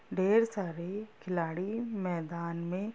ढेर सारे खिलाड़ी मेदान मे--